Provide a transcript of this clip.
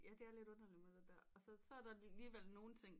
Ja det er lidt underligt med det der og så er der alligevel nogen ting